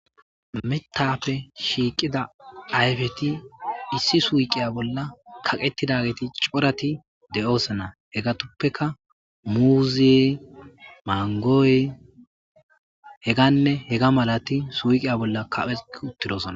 metappe shiiqida ayfeti issi suyqiya bolla kaqetidageti corati de7osana hegatoppeka muuziye mangooy heganne hega malati suuqiya bolla kaphe uttidosna